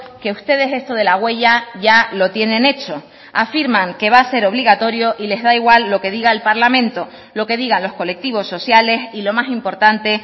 que ustedes esto de la huella ya lo tienen hecho afirman que va a ser obligatorio y les da igual lo que diga el parlamento lo que digan los colectivos sociales y lo más importante